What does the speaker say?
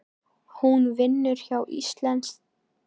Hún vinnur hjá Íslenskri erfðagreiningu.